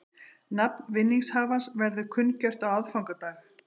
Nafn vinningshafans verður kunngjört á aðfangadag